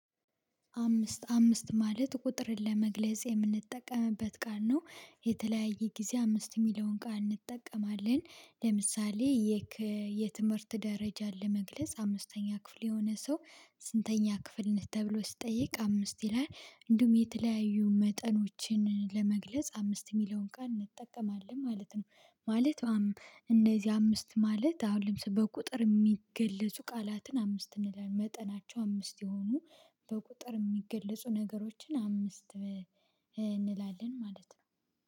አምስት አምስት ማለት ቁጥርን ለመግለጽ የምንጠቀምበት ቃል ነው የተለያየ ጊዜ አምስት እሚለውን ቃል እንጠቀማለን። ለምሳሌ የትምህርት ደረጃን ለመግለጽ አምስተኛ ክፍል የሆነ ሰው ስንተኛ ክፍል ነህ? ተብሎ ሲጠይቅ አምስት ይላል እንዲሁም የተለያዩ መጠኖችን ለመግለጽ አምስት እሚለውን ቃል እንጠቀማለን ማለት ነው። ማለት እንነዚህ አምስት ማለት አሁን ለምሳሌ በቁጥር የሚገለጹ ቃላትን አምስት እንላለን። መጠናቸው አምስት የሆኑ በቁጥር እሚገለጹ ነገሮችን አምስት እንላለን ማለት ነው።